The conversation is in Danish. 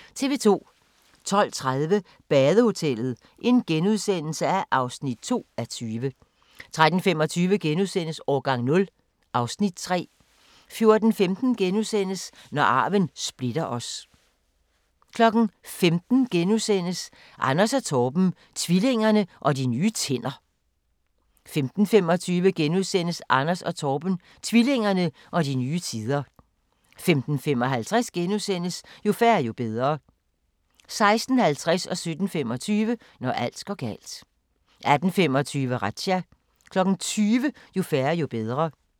12:30: Badehotellet (2:20)* 13:25: Årgang 0 (Afs. 3)* 14:15: Når arven splitter os * 15:00: Anders & Torben - tvillingerne og de nye tænder * 15:25: Anders & Torben - tvillingerne og de nye tider * 15:55: Jo færre, jo bedre * 16:50: Når alt går galt 17:25: Når alt går galt 18:25: Razzia 20:00: Jo færre, jo bedre